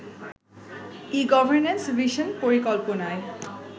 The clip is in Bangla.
ই-গর্ভনেন্স ভিশন পরিকল্পনায়